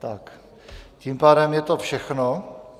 Tak tím pádem je to všechno.